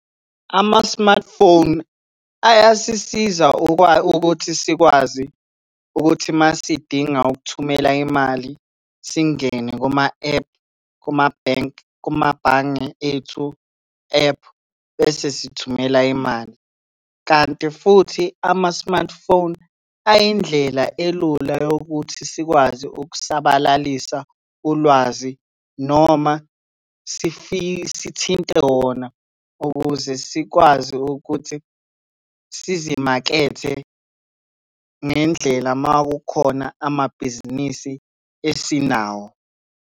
Ama-smartphone ayasisiza ukuthi sikwazi ukuthi uma sidinga ukuthumela imali singene kuma-ephu kumabhenki, kumabhange ethu, ephu, bese sithumela imali, kanti futhi ama-smartphone ayindlela elula yokuthi sikwazi ukusabalalisa ulwazi noma sithinte wona ukuze sikwazi ukuthi sizimakethe ngendlela makukhona amabhizinisi esinawo.